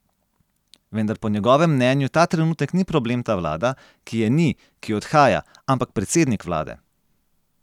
Vendar po njegovem mnenju ta trenutek ni problem ta vlada, ki je ni, ki odhaja, ampak predsednik vlade.